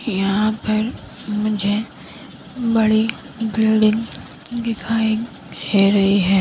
यहां पर मुझे बड़ी बिल्डिंग दिखाई दे रही है।